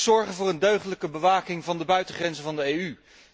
Zorgen voor een deugdelijke bewaking van de buitengrenzen van de EU!